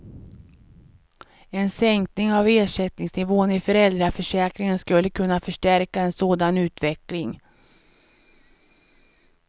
En sänkning av ersättningsnivån i föräldraförsäkringen skulle kunna förstärka en sådan utveckling.